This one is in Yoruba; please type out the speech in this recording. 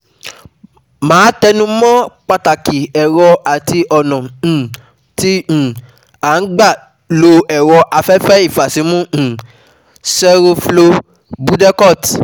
Màá tẹnu mọ́ pàtàkì ẹ̀rọ àti ọ̀nà um tí um à ń gbà lo ẹ̀rọ afẹfẹ́ ìfàsímú um (seroflow/Budecort)